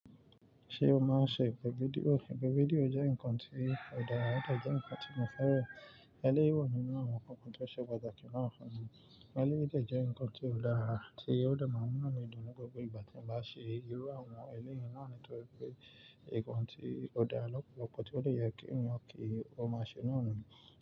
Ṣé o máa ń ṣe ìpè fídíò? Ìpè fídíò jẹ́ nǹkan tí o dára, ó de jẹ́ ǹkan tí mo fẹ́ràn. Eléyii wa nínú àwọn nkankan tó ṣe pàtàkì náà fún mi. Eléyìí de jẹ́ ǹkan tí o dáa tí ó de máa mu ìnu mí dun ni gbogbo ìgbà tí eyan bá ṣe irú àwọn eléyìí náà nítorí pé, ǹkan tí ó dára lọ́pọ̀lọpọ̀ tí ó dẹ kín èèyàn kí ó máa ṣe náà nìyẹn.